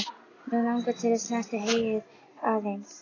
Mig langar til að snerta heyið aðeins.